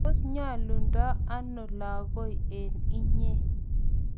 tos nyolundo ano lagoi eng inye?